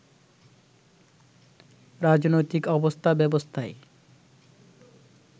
রাজনৈতিক অবস্থা ব্যবস্থায়